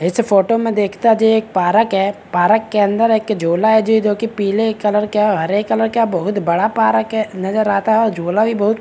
इस फोटो में देखता जी एक पारक है | पारक के अंदर एक झूला है जी जो की पीले कलर का हरे कलर का बहुत बड़ा पारक है नज़र आता झूला भी बहुत --